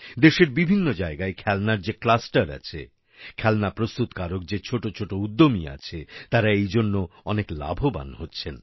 দেশের বিভিন্ন জায়গায় খেলনার যে ক্লাসটার আছে খেলনা প্রস্তুতকারক যে ছোট ছোট উদ্যমী আছে তারা এই জন্য অনেক লাভবান হচ্ছেন